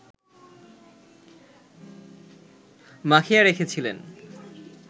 মাখিয়ে রেখেছিলেন